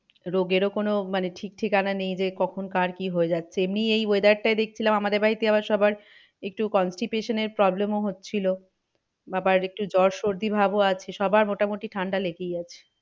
রোগেরও কোনো মানে ঠিক ঠিকানা নেই যে কখন কার কি হয়ে যাচ্ছে এমনি এই weather টায় দেখছিলাম আমাদের বাড়িতে আবার সবার একটু constipation এর problem ও হচ্ছিলো। বাবার একটু জ্বর সর্দি ভাব ও আছে সবার মোটামুটি ঠান্ডা লেগেই আছে।